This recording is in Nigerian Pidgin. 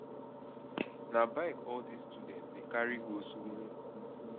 na bike all dese students dey carry go skool o